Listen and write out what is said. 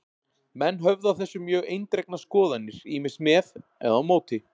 Menn höfðu á þessu mjög eindregnar skoðanir, ýmist með eða á móti.